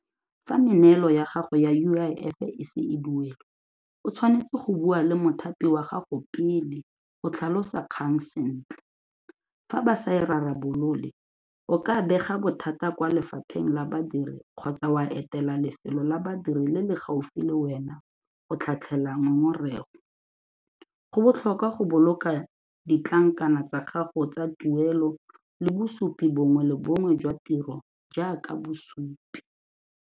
Fa meneelo ya gago ya U_I_F-e e se e duelwe, o tshwanetse go bua le mothapi wa gago pele go tlhalosa kgang sentle, fa ba sa e rarabolole o ka bega bothata kwa lefapheng la badiri kgotsa wa etela lefelo la badiri le le gaufi le wena go tlhatlhela ngongorego. Go botlhokwa go boloka ditlankana tsa gago tsa tuelo le bosupi bongwe le bongwe jwa tiro jaaka bosupi.